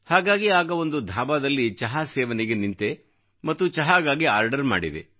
ಹಾಗಾಗಿ ಆಗ ಒಂದು ಧಾಬಾದಲ್ಲಿ ಚಹಾ ಸೇವನೆಗೆ ನಿಂತೆ ಮತ್ತು ಚಹಾಗಾಗಿ ಆರ್ಡರ್ ಮಾಡಿದೆ